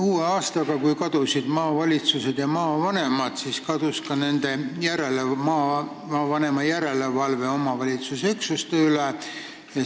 Uue aastaga, kui kadusid maavalitsused ja maavanemad, kadus ka maavanema järelevalve omavalitsuse üksuste üle.